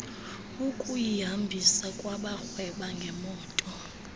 ukuyihambisa kwabarhweba ngeemoto